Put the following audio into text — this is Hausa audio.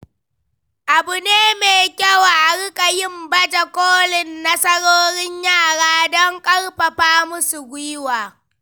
Abu ne mai kyau a riƙa yin baje kolin nasarorin yara don ƙarfafa musu gwiwa.